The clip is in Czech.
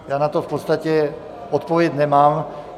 Já na to v podstatě odpověď nemám.